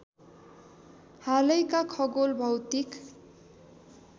हालैका खगोल भौतिक